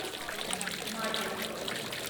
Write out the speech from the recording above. мадя